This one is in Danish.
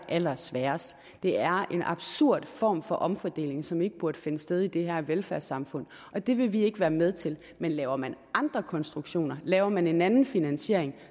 allersværest det er en absurd form for omfordeling som ikke burde finde sted i det her velfærdssamfund og det vil vi ikke være med til men laver man andre konstruktioner laver man en anden finansiering